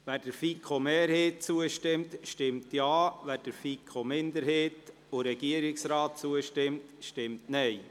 Wer der FiKo-Mehrheit zustimmt, stimmt Ja, wer der FiKo-Minderheit und dem Regierungsrat zustimmt, stimmt Nein.